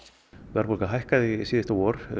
verðbólga hækkaði síðasta vor